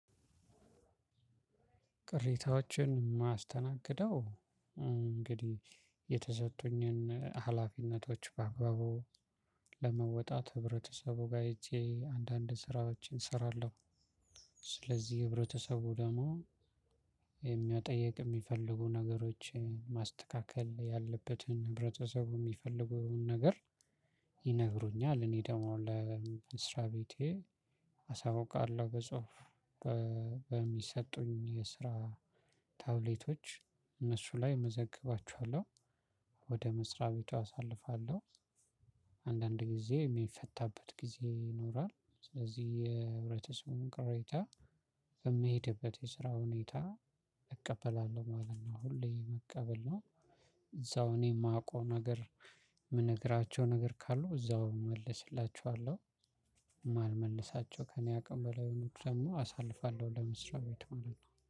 ቅሬታዎችን የማስተናግደው እንግዲህ የተሰጡኝን ሀላፊነቶች ባግባቡ ለመወጣት ህብረተሰቡ ጋር ሄጄ አንዳንድ ስራዎችን እሰራለሁ። ስለዚህ ህብረተሰቡ ደግሞ የሚ መጠየቅ የሚፈልጉ ነገሮችን ማስተካከል ያለበትን ህብረተሰቡ የሚፈልጉን ነገር። ይነግሩኛል እኔ ደግሞ ለመስሪያ ቤቴ አሳውቃለሁ። በጽሁፍ በሚሰጡኝ የስራ ታብሌቶች እነሱ ላይ እመዘግባችኋለሁ። ወደ መስሪያ ቤቱ አሳልፋለሁ። አንዳንድ ጊዜ የሚፈታበት ጊዜ ይኖራል ስለዚህ የህብረተሰቡን ቅሬታ በምሄድበት የስራ ሁኔታ እቀበላለሁ ማለት ነው። ሁሌ መቀበል ነው። እዛው እኔ የማውቀው ነገር የምነግራቸው ነገር ካሉ እዛው እመልስላችኋለሁ። የማልመልሳቸው ከእኔ አቅም በላይ የሆኑት ደግሞ አሳልፋለው ለመስሪያ ቤቱ